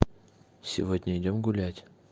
сегодня идём гулять